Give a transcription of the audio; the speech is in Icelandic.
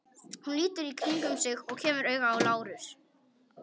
Hún lítur í kringum sig og kemur auga á Lárus.